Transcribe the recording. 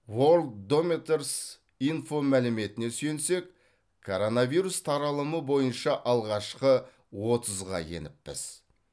ворлддомитерс инфо мәліметіне сүйенсек коронавирус таралымы бойынша алғашқы отызға еніппіз